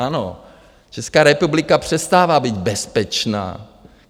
Ano, Česká republika přestává být bezpečná.